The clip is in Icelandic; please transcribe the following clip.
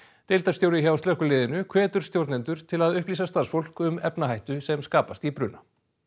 deildarstjóri hjá slökkviliðinu hvetur stjórnendur til að upplýsa starfsfólk um efnahættu sem skapast í bruna